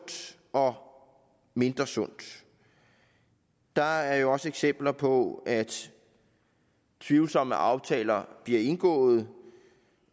og mindre sund der er jo også eksempler på at tvivlsomme aftaler bliver indgået